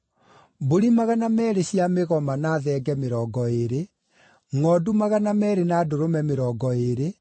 mbũri magana meerĩ cia mĩgoma na thenge mĩrongo ĩĩrĩ, ngʼondu magana meerĩ na ndũrũme mĩrongo ĩĩrĩ,